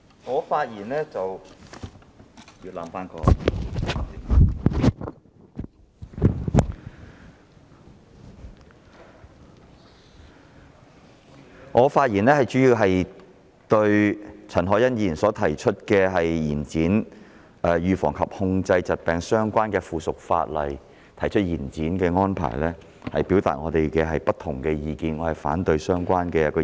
我是次發言主要是就陳凱欣議員提出，延展和預防及控制疾病相關的附屬法例的修訂期限，表達我們的不同意見，反對是項安排。